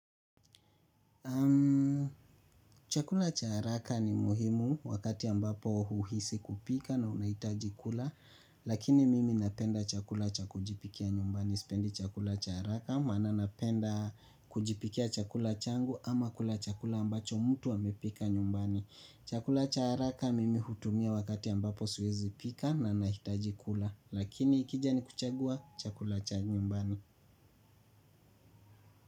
Chakula cha haraka ni muhimu wakati ambapo huhisi kupika na unahitaji kula lakini mimi napenda chakula cha kujipikia nyumbani, sipendi chakula cha haraka maana napenda kujipikia chakula changu ama kula chakula ambacho mtu amepika nyumbani. Chakula cha haraka mimi hutumia wakati ambapo siwezipika na nahitaji kula. Lakini ikija ni kuchagua chakula cha nyumbani.